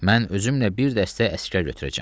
Mən özümlə bir dəstə əsgər götürəcəm.